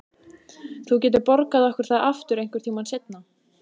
Þú getur borgað okkur það aftur einhvern tíma seinna.